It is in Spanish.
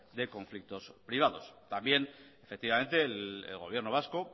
de conflictos privados también efectivamente el gobierno vasco